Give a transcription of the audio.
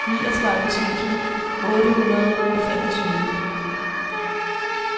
niogtredive tusind otte hundrede og femogtyve